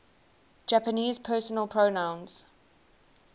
japanese personal pronouns